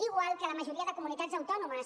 igual que a la majoria de comunitats autònomes